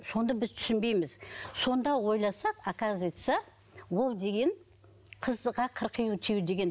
сонда біз түсінбейміз сонда ойласақ оказывается ол деген қызға қырық үй тыю деген